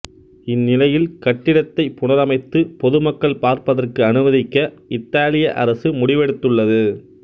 இந்நிலையில் கட்டிடத்தை புனரமைத்து பொதுமக்கள் பார்ப்பதற்கு அனுமதிக்க இத்தாலிய அரசு முடிவெடுத்துள்ளது